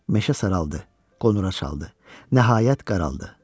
Meşə saraldı, qonura çaldı, nəhayət qaraldı.